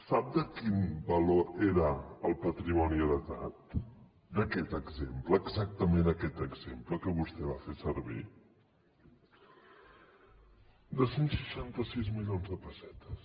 sap de quin valor era el patrimoni heretat d’aquest exemple exactament aquest exemple que vostè va fer servir de cent i seixanta sis milions de pessetes